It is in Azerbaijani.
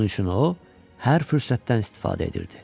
Bunun üçün o, hər fürsətdən istifadə edirdi.